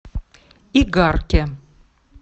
игарке